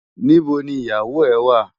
Nibó ni iyáwó è wá?